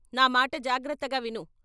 నా మాట జాగ్రత్తగా విను.